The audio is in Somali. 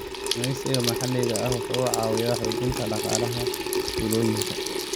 Kalluumeysiga maxalliga ah wuxuu caawiyaa xoojinta dhaqaalaha tuulooyinka.